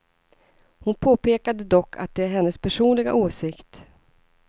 Hon påpekade dock att det är hennes personliga åsikt.